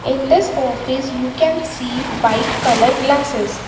in this office you can see white colour glasses.